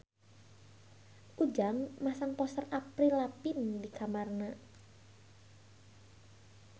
Ujang masang poster Avril Lavigne di kamarna